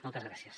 moltes gràcies